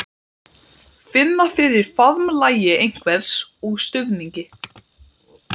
Blik augnanna var blátt og skelmislegt.